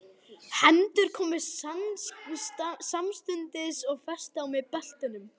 Allar hendur voru samstundis komnar á skotvopnin í beltunum.